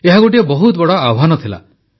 ଏହା ଗୋଟିଏ ବହୁତ ବଡ଼ ଆହ୍ୱାନ ଥିଲା